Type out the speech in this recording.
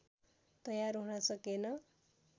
तयार हुन सकेन